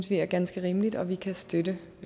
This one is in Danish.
det er ganske rimeligt og vi kan støtte